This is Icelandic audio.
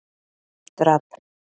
Dröfn